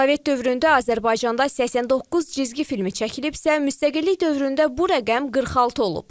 Sovet dövründə Azərbaycanda 89 cizgi filmi çəkilibsə, müstəqillik dövründə bu rəqəm 46 olub.